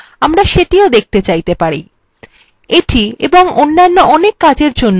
এটি এবং অন্যান্য অনেক কাজের জন্য আমরা cmp command ব্যবহার করতে পারি